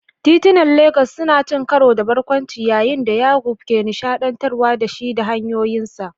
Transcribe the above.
Titunan Legas sun ci karo da barkwanci yayin da Yaqub ke nishaɗantar da shi da hikayoyinsa.